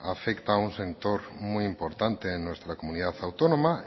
afecta a un sector muy importante en nuestra comunidad autónoma